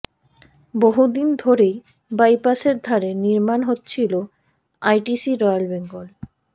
বহুদিন ধরেই বাইপাসের ধারে নির্মাণ হচ্ছিল আইটিসি রয়্যাল বেঙ্গল